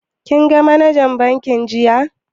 Kin ga manajan bankin jiya?